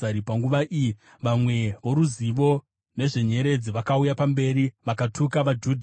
Panguva iyi vamwe voruzivo nezvenyeredzi vakauya pamberi vakatuka vaJudha.